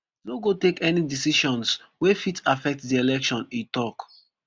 no go take any decisions wey fit affect di election e tok